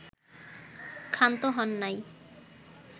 ক্ষান্ত হন নাই